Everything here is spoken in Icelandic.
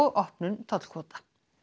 opnun tollkvóta